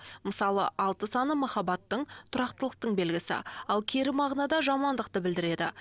мысалы алты саны махаббаттың тұрақтылықтың белгісі ал кері мағынада жамандықты білдіреді